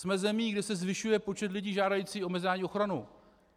Jsme zemí, kde se zvyšuje počet lidí žádajících o mezinárodní ochranu.